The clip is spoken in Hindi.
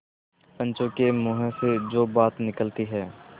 पंचों के मुँह से जो बात निकलती है